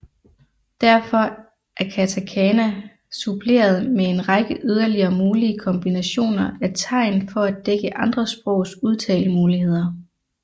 Derfor er katakana suppleret med en række yderligere mulige kombinationer af tegn for at dække andre sprogs udtalemuligheder